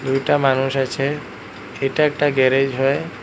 দুইটা মানুষ আছে এইটা একটা গ্যারেজ হয়।